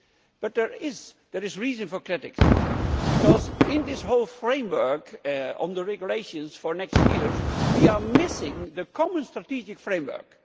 But there is reason for criticism, because in this whole framework on the regulations for next year we are missing a common strategic framework.